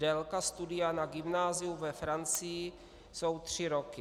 Délka studia na gymnáziu ve Francii jsou tři roky.